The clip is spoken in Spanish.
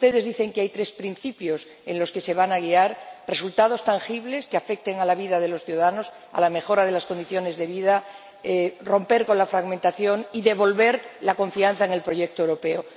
Ustedes dicen que hay tres principios por los que se van guiar resultados tangibles que afecten a la vida de los ciudadanos, a la mejora de las condiciones de vida, romper con la fragmentación y devolver la confianza en el proyecto europeo.